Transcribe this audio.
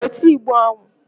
Weta Igbo ahụ!